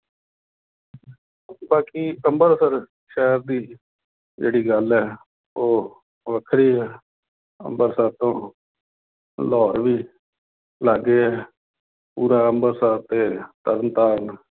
ਬਾਕੀ ਅੰਮ੍ਰਿਤਸਰ ਸ਼ਹਿਰ ਦੀ ਜਿਹੜੀ ਗੱਲ ਹੈ ਉਹ ਵੱਖਰੀ ਹੈ। ਅੰਮ੍ਰਿਤਸਰ ਤੋਂ ਲਾਹੌਰ ਵੀ ਲਾਗੇ ਹੈ। ਪੂਰਾ ਅੰਮ੍ਰਿਤਸਰ ਅਤੇ ਤਰਨਤਾਰਨ